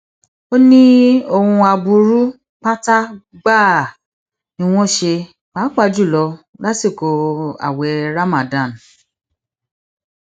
ó ní ohun aburú pátá gbáà ni wọn ṣe pàápàá jù lọ lásìkò ààwẹ ramadan